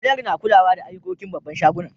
Manajar na kulawa da ayukokin babban shagunan.